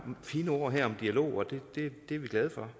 fine ord her om dialog og det er vi glade for